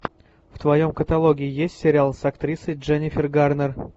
в твоем каталоге есть сериал с актрисой дженнифер гарнер